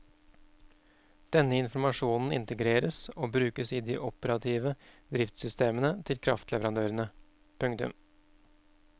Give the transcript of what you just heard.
Denne informasjonen integreres og brukes i de operative driftssystemene til kraftleverandørene. punktum